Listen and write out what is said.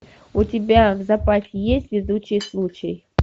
у тебя в запасе есть везучий случай